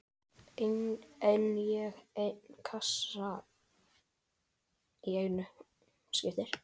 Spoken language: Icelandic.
Einn og einn kassa í einu.